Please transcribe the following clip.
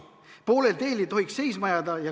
Poolel teel ei tohiks seisma jääda.